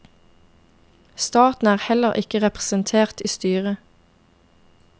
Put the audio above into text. Staten er heller ikke representert i styret.